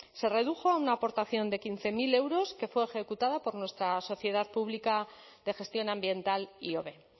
se redujo a una aportación de quince mil euros que fue ejecutada por nuestra sociedad pública de gestión ambiental ihobe